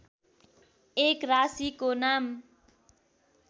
एक राशिको नाम